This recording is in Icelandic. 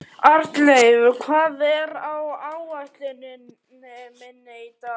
Arnleif, hvað er á áætluninni minni í dag?